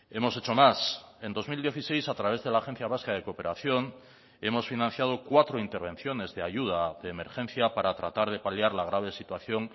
hemos hecho más en dos mil dieciséis a través de la agencia vasca de cooperación hemos financiado cuatro intervenciones de ayuda de emergencia para tratar de paliar la grave situación